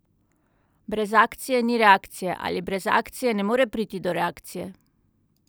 Brez akcije ni reakcije, ali brez akcije ne more priti do reakcije?